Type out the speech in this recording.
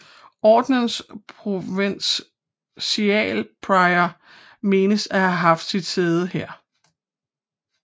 Ordenens provincialprior menes at have haft sit sæde her